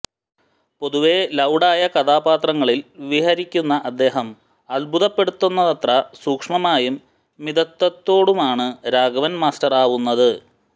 പൊതുവെ ലൌഡ് ആയ കഥാപാത്രങ്ങളിൽ വിഹരിക്കുന്ന അദ്ദേഹം അത്ഭുതപ്പെടുത്തുന്നത്ര സൂക്ഷ്മമായും മിതത്വത്തോടുമാണ് രാഘവൻ മാസ്റ്ററാവുന്നത്